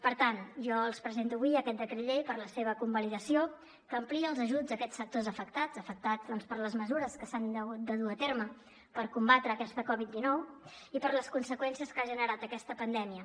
per tant jo els presento avui aquest decret llei per a la seva convalidació que amplia els ajuts a aquests sectors afectats afectats per les mesures que s’han hagut de dur a terme per combatre aquesta covid dinou i per les conseqüències que ha generat aquesta pandèmia